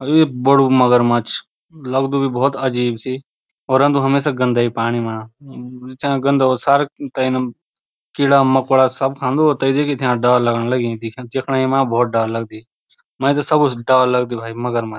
ये बडू मगरमच लगदू भी भौत अजीब सी और रंदु हमेशा गंदेई पाणी मा। चा गन्दा हो सारा तैनं कीड़ा मकोड़ा सब खान्दू तै देखि थे अब डौर लगण लगीं दिख्याँ दिख्येणा मा भौत डार लगदी मैं त सबू से डौर लगदी भाई मगरमच।